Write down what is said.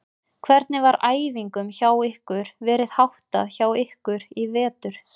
Hvernig var æfingum hjá ykkur verið háttað hjá ykkur í vetur?